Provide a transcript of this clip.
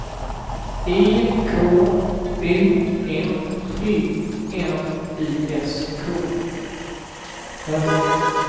E K O N O M I S K